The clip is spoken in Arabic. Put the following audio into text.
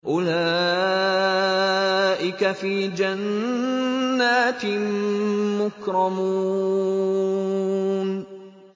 أُولَٰئِكَ فِي جَنَّاتٍ مُّكْرَمُونَ